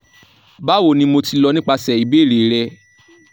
bawoni mo ti lọ nipasẹ ibeere rẹ